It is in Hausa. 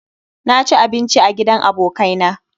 Na ci abinci a gidan abokai na